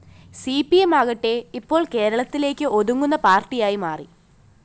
C P M ആകട്ടെ ഇപ്പോള്‍ കേരളത്തിലേക്ക് ഒതുങ്ങുന്ന പാര്‍ട്ടിയായി മാറി